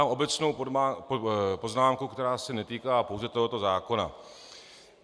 Mám obecnou poznámku, která se netýká pouze tohoto zákona.